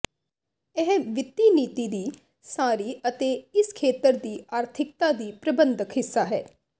ਇਹ ਵਿੱਤੀ ਨੀਤੀ ਦੀ ਸਾਰੀ ਅਤੇ ਇਸ ਖੇਤਰ ਦੀ ਆਰਥਿਕਤਾ ਦੀ ਪ੍ਰਬੰਧਕ ਹਿੱਸਾ ਹੈ